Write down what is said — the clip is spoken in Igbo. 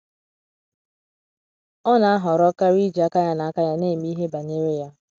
ọna ahọrọ kari iji aka ya na aka ya na eme ihe banyere ya